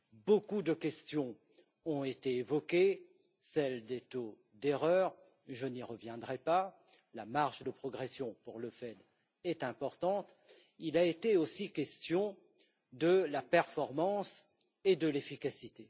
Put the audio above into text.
Beaucoup de questions ont été évoquées celle des taux d'erreur je n'y reviendrai pas, la marge de progression pour le FED est importante comme celles de la performance et de l'efficacité.